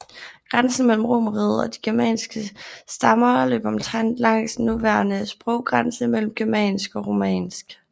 Grænsen mellem romerriget og de germanske stammer løb omtrent langs den nuværende sproggrænse mellem germansk og romansk